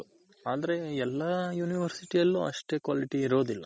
ಅಂದ್ರೆ ಎಲ್ಲ University ಅಲ್ಲೂ ಅಷ್ಟೇ quality ಇರೋದಿಲ್ಲ.